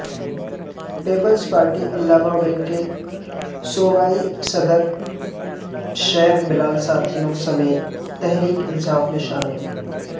Peoples Party علماء wing کے صوبائی صدر شیخ بلال ساتھیوں سمیت تحریک انصاف میں شامل